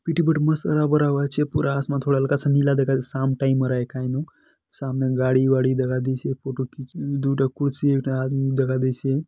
पिटी बटु मस्त पूरा आसमान थोड़ा हल्का सा नीला दका शाम टाइम अराय का नु शाम में गाड़ी-वाड़ी दका देइसे फोटो खींच दू ठक कुर्सी एक ठ आदमी दका देइसे --